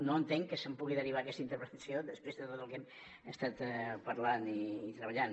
no entenc que se’n pugui derivar aquesta interpretació després de tot el que estem parlant i treballant